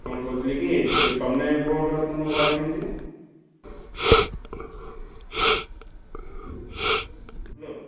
କଣ କହୁଥିଲି କି ~ଚୁ ତମେ vote ତମ ଘରେ ଦିଅନ୍ତି ନା? hello ।